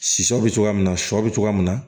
Sisan bɛ cogoya min na shɔ bɛ cogoya min na